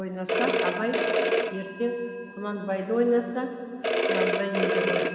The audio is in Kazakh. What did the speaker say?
ойнаса абай ертең кұнанбайды ойнаса құнанбай еді ғой